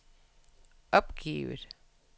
opgivet